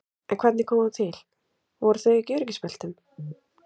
En hvernig kom það til, voru þau ekki í öryggisbeltum?